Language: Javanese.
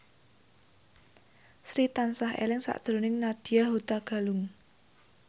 Sri tansah eling sakjroning Nadya Hutagalung